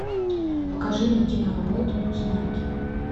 покажи мне киноработу знаки